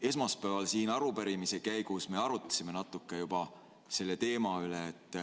Esmaspäeval arupärimise käigus me natuke juba arutasime selle teema üle.